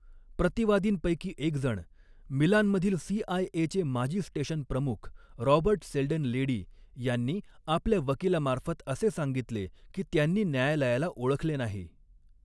प्रतिवादींपैकी एकजण, मिलानमधील सीआयएचे माजी स्टेशन प्रमुख, रॉबर्ट सेल्डन लेडी, यांनी आपल्या वकिलामार्फत असे सांगितले की त्यांनी न्यायालयाला ओळखले नाही.